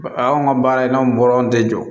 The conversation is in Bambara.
A y'anw ka baara in n'anw bɔra anw tɛ jɔ